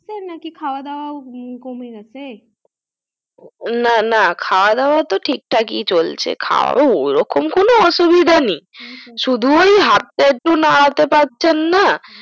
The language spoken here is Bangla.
করতেছেন নাকি খাওয়া দাওয়া ও কমে গাছে না না খাওয়া দাওয়া তো টিক টাকি চলছে তাও ওরকম কোনো অসুবিধা নেই সুদু ওই হাতটা একটু নাড়াতে পারছেননা